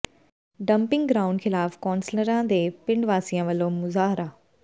dumping ground ਖ਼ਿਲਾਫ਼ ਕੌਂਸਲਰਾਂ ਦੇ ਪਿੰਡ ਵਾਸੀਆਂ ਵੱਲੋਂ ਮੁਜ਼ਾਹਰਾ